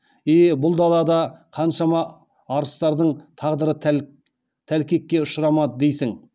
е бұл далада қаншама арыстардың тағдыры тәлкекке ұшырамады дейсің